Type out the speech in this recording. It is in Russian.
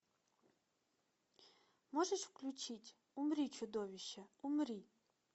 можешь включить умри чудовище умри